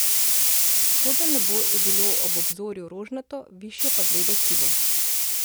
Vzhodno nebo je bilo ob obzorju rožnato, višje pa bledo sivo.